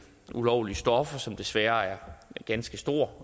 ulovlige stoffer som desværre er ganske stor